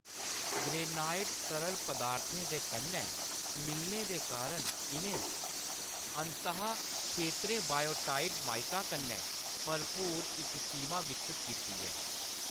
Granite तरल पदार्थें दे कन्नै मिलने दे कारण, इʼनें अंत : खेतरें बायोटाइट माइका कन्नै भरपूर इक सीमा विकसत कीती ऐ।